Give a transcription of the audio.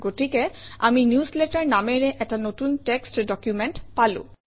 গতিকে আমি নিউজলেটাৰ নামেৰে এটা নতুন টেক্সত ডকুমেণ্ট পালো